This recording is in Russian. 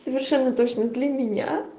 совершенно точно для меня